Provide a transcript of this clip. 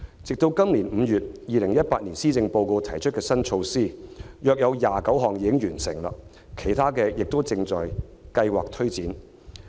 直至今年5月 ，2018 年施政報告提出的新措施中約有29項已經完成，其他的亦正在計劃推展。